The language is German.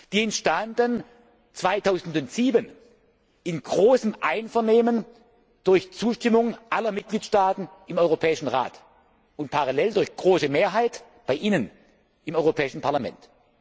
Die entstanden 2007 im großen Einvernehmen durch Zustimmung aller Mitgliedstaaten im Europäischen Rat und parallel durch große Mehrheit bei Ihnen im Europäischen Parlament.